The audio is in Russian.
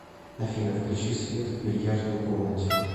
афина включи свет в бильярдной комнате